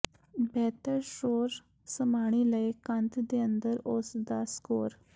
ਬਿਹਤਰ ਸ਼ੋਰ ਸਮਾਈ ਲਈ ਕੰਧ ਦੇ ਅੰਦਰ ਉਸ ਦਾ ਸਕੋਰ